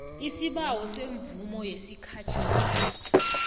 isibawo semvumo yesikhatjhana